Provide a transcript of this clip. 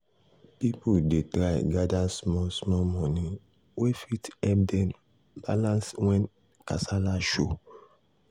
people dey try gather small small money wey fit help dem balance when when kasala show.